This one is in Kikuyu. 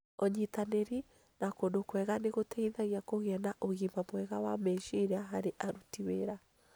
Ũnyitanĩri na kũndũ kwega nĩ gũteithagia kũgĩa na ũgima mwega wa meciria harĩ aruti wĩra.